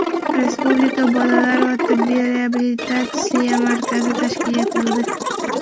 Respublika bolalar tibbiy reabilitatsiya markazi tashkil etildi.